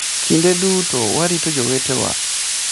Kinde duto warito jowetewa.